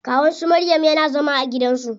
Kawun su maryam yana zama a gidan su.